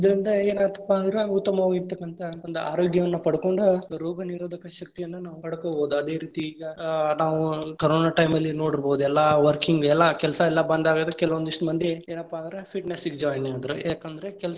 ಇದರಿಂದ ಏನಾಗ್ತಪಾ ಅಂದ್ರ ಉತ್ತಮವಾಗಿರತಕ್ಕಂತಹ ಒಂದ್ ಆರೋಗ್ಯವನ್ನ ಪಡಕೊಂಡು ರೋಗನಿರೋಧಕ ಶಕ್ತಿಯನ್ನ ನಾವ್‌ ಪಡಕೊಬಹುದು, ಅದೇ ರೀತಿ ಈಗಾ ನಾವು ಕರೋನಾ time ಅಲ್ಲಿ ನೋಡಿರಬಹುದು ಎಲ್ಲಾ working ಎಲ್ಲಾ ಕೆಲಸಾ ಎಲ್ಲಾ ಬಂದ ಆಗದ ಕೆಲವೊಂದಿಸ್ಟ್ ಮಂದಿ ಏನಪ್ಪಾ ಅಂದ್ರ fitness ಗ್ join ಆದ್ರ ಯಾಕಂದ್ರೆ ಕೆಲ್ಸಾ.